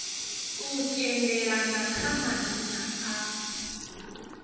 u tendelana kha madzina a